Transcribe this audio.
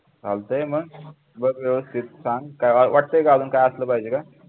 चालतंय मग बघ सांग काय वाटतंय का अजून काय असलं पाहिजे का